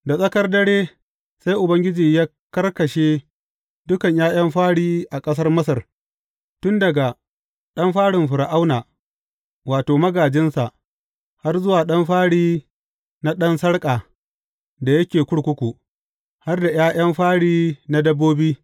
Da tsakar dare, sai Ubangiji ya karkashe dukan ’ya’yan fari a ƙasar Masar, tun daga ɗan farin Fir’auna, wato, magājinsa, har zuwa ɗan fari na ɗan sarƙa da yake kurkuku, har da ’ya’yan fari na dabbobi.